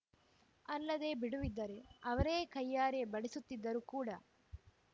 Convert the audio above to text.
ಅಲ್ಲದೇ ಬಿಡುವಿದ್ದರೆ ಅವರೇ ಕೈಯಾರೆ ಬಡಿಸುತ್ತಿದ್ದರು ಕೂಡ